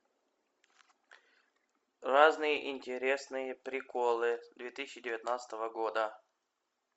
разные интересные приколы две тысячи девятнадцатого года